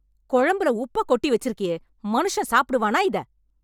குழம்புல உப்ப கொட்டி வச்சுருக்கியே, மனுஷன் சாப்பிடுவானா இத?